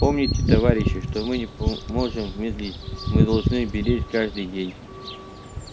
помните товарищи что мы не по можем медлить мы должны беречь каждый день